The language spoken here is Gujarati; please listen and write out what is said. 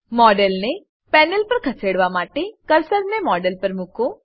મોડેલને પેનલ પર ખસેડવા માટે કર્સરને મોડેલ પર મુકો